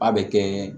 A bɛ kɛ